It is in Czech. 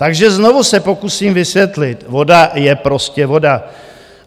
Takže znovu se pokusím vysvětlit, voda je prostě voda.